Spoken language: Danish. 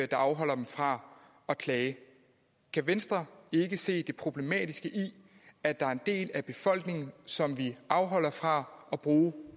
der afholder dem fra at klage kan venstre ikke se det problematiske i at der er en del af befolkningen som vi afholder fra at bruge